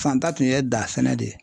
Fantan tun ye da sɛnɛ de ye.